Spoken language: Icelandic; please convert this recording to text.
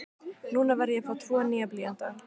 Núna var ég að fá tvo nýja blýanta.